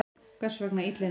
Hvers vegna illindi?